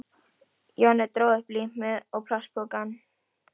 Jonni dró upp límið og plastpokann.